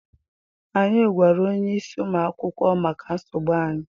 Anyị gwara onyeisi ụmụ akwụkwọ maka nsogbu anyị.